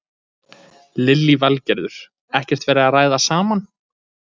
Lillý Valgerður: Ekkert verið að ræða saman?